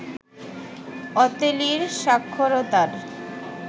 অতেলির সাক্ষরতার